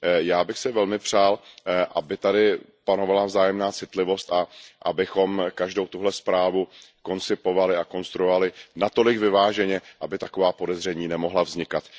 Já bych si velmi přál, aby tady panovala vzájemná citlivost a abychom každou tuhle zprávu koncipovali a konstruovali natolik vyváženě, aby taková podezření nemohla vznikat.